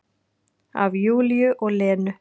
Af Júlíu og Lenu.